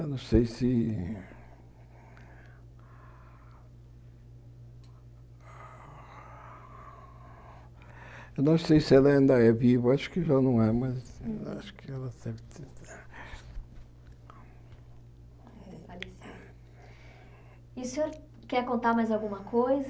Eu não sei se... Eu não sei se ela ainda é viva, acho que já não é, mas acho que ela... E o senhor quer contar mais alguma coisa?